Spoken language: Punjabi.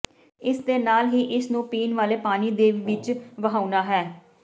ਇਸ ਦੇ ਨਾਲ ਹੀ ਇਸ ਨੂੰ ਪੀਣ ਵਾਲੇ ਪਾਣੀ ਦੀ ਵਿੱਚ ਵਹਾਉਣਾ ਹੈ